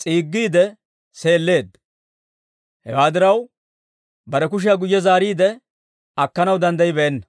s'iiggiide sileedda; Hewaa diraw, bare kushiyaa guyye zaariide akkanaw danddayibeenna.